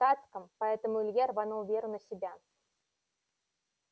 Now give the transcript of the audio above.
в штатском поэтому илья рванул веру на себя